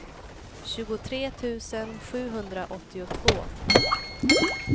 tjugotre tusen sjuhundraåttiotvå